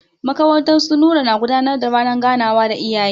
Makarantar su Nura na gudanar da ranar ganawa da iyaye.